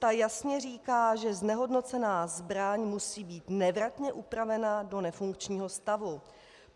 Ta jasně říká, že znehodnocená zbraň musí být nevratně upravena do nefunkčního stavu.